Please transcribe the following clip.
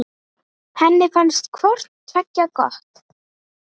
Henni fannst hvort tveggja gott.